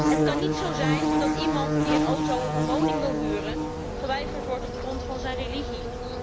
Het kan niet zo zijn dat iemand die een auto of een woning wil huren, geweigerd wordt op grond van zijn religie.